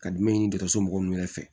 Ka jumɛn ɲini dɔgɔtɔrɔso mɔgɔ nunnu yɛrɛ fɛ